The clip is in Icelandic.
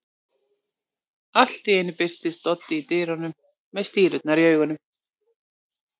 Allt í einu birtist Doddi í dyrunum með stírurnar í augunum.